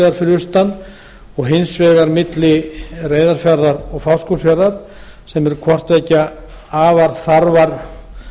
vegar fyrir auastan og hins vegar milli reyðarfjarðar og fáskrúðsfjarðar sem eru hvort tveggja afar